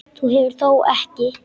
Þú hefur þó ekki.